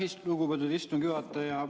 Aitäh, lugupeetud istungi juhataja!